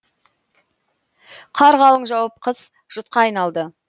қар қалың жауып қыс жұтқа айналды